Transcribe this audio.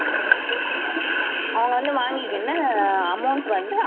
அவங்க வந்து வாங்கிக்கின்னு amount வந்து